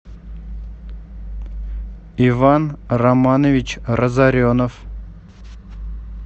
иван романович разоренов